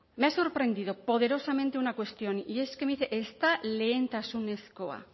me ha sorprendido poderosamente una cuestión y es que me dice ez da lehentasunezkoa